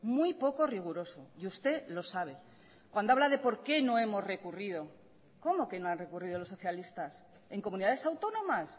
muy poco riguroso y usted lo sabe cuando habla de por qué no hemos recurrido cómo que no han recurrido los socialistas en comunidades autónomas